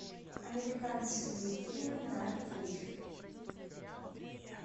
американские фильмы на вечер